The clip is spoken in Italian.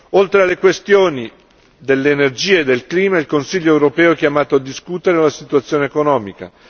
Oltre alle questioni dell'energia e del clima, il Consiglio europeo è chiamato a discutere uan situazione economica.